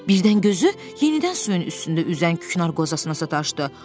Birdən gözü yenidən suyun üstündə üzən küknar qozasına sataşdı.